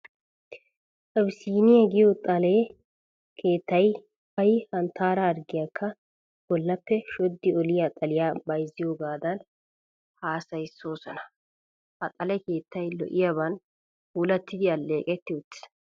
Abisiiniya giyo xale keettay ay hanttaara harggiyakka bollaappe shoddi oliya xaliyaa bayzziyogaadan hassayissoosona. Ha xale keettay lo"iyaban puulatti alleeqetti uttiis.